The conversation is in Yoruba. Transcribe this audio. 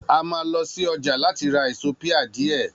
A mà lõsí õjá latí ra èsó pia dìé